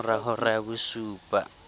ka mora hora ya bosupa